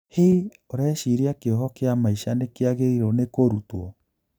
Hii, ureshiria kioho kia maisha nikiagirirwo nikũrutwo?